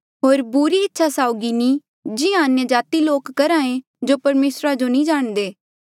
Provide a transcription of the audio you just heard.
होर बुरी इच्छा साउगी नी जिहां अन्यजाति लोका करहे जो परमेसरा जो नी जाणदे